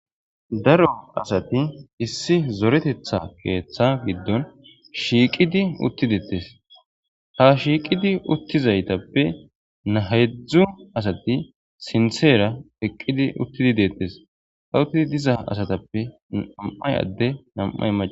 Daro asati issi zoretetha keeththa giddon shiiqidi uttidettes ha shiiqidi uttizaytappe nahedzdzu asati sinseera eqqidi uttidi deettes ha uttidi diza asatappe nam7ay adde nam7ay ma.